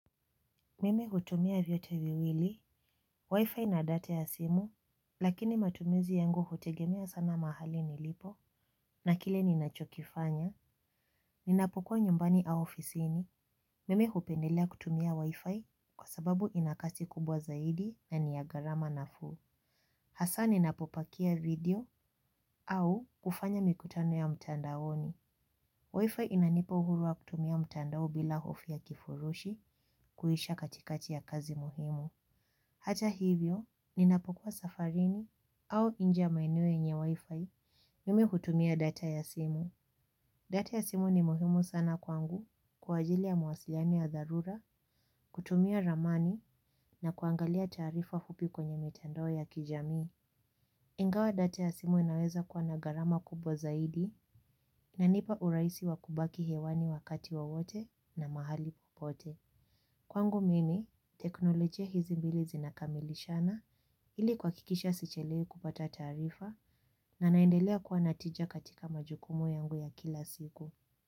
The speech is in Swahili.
Mimi hutumia vyote viwili, wifi na data ya simu, lakini matumizi yangu hutegemea sana mahali nilipo, na kile ninachokifanya, ninapokua nyumbani au ofisini, mimi hupendelea kutumia wifi kwa sababu inakasi kubwa zaidi na niyagharama nafuu. Hasaa ninapopakia video au kufanya mikutano ya mtandaoni. Wifi inanipo uhuru wa kutumia mtandao bila hofu ya kifurushi kuisha katikati ya kazi muhimu. Hata hivyo, ninapokua safarini au nje maeneo yenye wifi mimi hutumia data ya simu. Data ya simu ni muhimu sana kwangu kwa ajili ya mawasiliano ya dharura, kutumia ramani na kuangalia taarifa fupi kwenye mitandao ya kijamii. Ingawa data ya simu inaweza kuwa na gharama kubwa zaidi inanipa urahisi wa kubaki hewani wakati wowote na mahali popote. Kwangu mimi, teknolojia hizi mbili zinakamilishana ili kuhakikisha sichelewi kupata taarifa na naendelea kuwa na tija katika majukumu yangu ya kila siku.